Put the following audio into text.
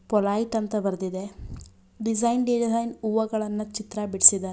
Polite ಅಂತ ಬರ್ದಿದೆ design design ಹೂವಗಳನ್ನ ಚಿತ್ರ ಬಿಡಿಸಿದಾರೆ.